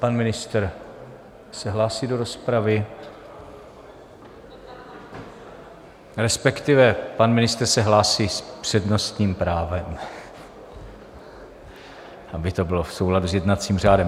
Pan ministr se hlásí do rozpravy, respektive pan ministr se hlásí s přednostním právem, aby to bylo v souladu s jednacím řádem.